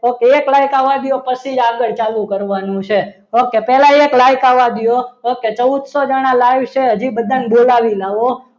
okay એક like આવા દો પછી જ આગળ ચાલુ કરવાનું છે ઓકે પહેલા એક like આવા દો. okay ચૌદસો લાઈવ છે હજી બધાને બોલાવી લાવો